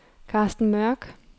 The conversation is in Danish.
Karsten Mørk